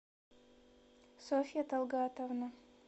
софья талгатовна